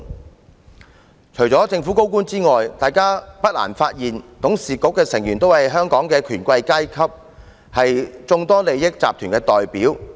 大家不難發現，除了政府高官之外，港鐵公司董事局的成員均是香港的權貴階級，是眾多利益集團的代表。